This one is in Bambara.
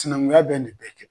Sinɛnkunya bɛ nin bɛɛ kɛ